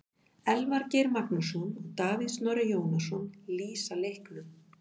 Elvar Geir Magnússon og Davíð Snorri Jónasson lýsa leiknum.